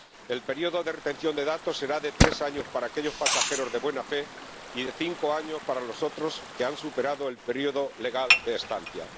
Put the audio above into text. El período de retención de datos será de tres años para aquellos pasajeros de buena fe y de cinco años para los que hayan superado el período legal de estancia.